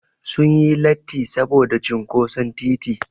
Sun yi latti saboda cinƙoson titi.